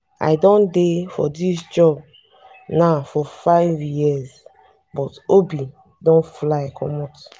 i don dey for dis job now for 5 years but obi don fly comot